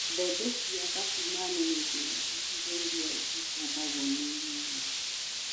Mbembe cia Katumani ni njega icigo irĩa cikũmbagwo nĩ ng'aragu